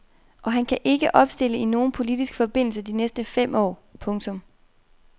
Og han kan ikke opstille i nogen politisk forbindelse de næste fem år. punktum